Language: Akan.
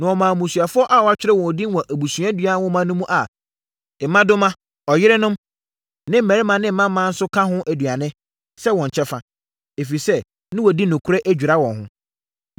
Na wɔmaa mmusuafoɔ a wɔatwerɛ wɔn din wɔ abusuadua nwoma mu a mmadoma, ɔyerenom ne mmammarima ne mmammaa nso ka ho nnuane, sɛ wɔn kyɛfa. Ɛfiri sɛ na wɔadi nokorɛ adwira wɔn ho.